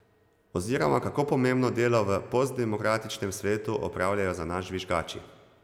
Oziroma kako pomembno delo v postdemokratičnem svetu opravljajo za nas žvižgači.